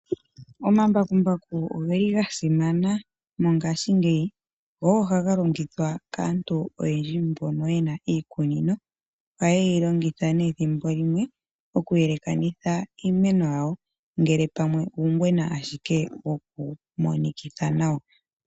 Omambakumbaku ogeli gasimana mongaashi ngeyi go ogo haga longithwa kaantu oyendji mbono yena iikunino oyeyi longitha nee ethimbo limwe okuyelekanitha iimeno yawo ngele pamwe uugwena ashike wokumonikitha nawa.